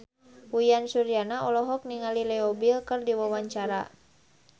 Uyan Suryana olohok ningali Leo Bill keur diwawancara